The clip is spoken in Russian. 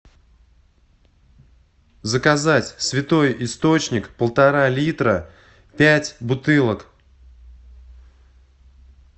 заказать святой источник полтора литра пять бутылок